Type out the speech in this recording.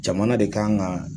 Jamana de kan ŋa